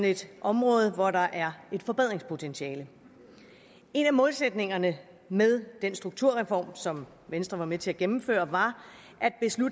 et område hvor der er et forbedringspotentiale en af målsætningerne med den strukturreform som venstre var med til at gennemføre var